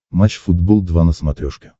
матч футбол два на смотрешке